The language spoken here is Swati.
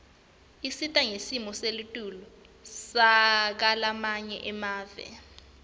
isita ngesimo selitulu sakulamanye emave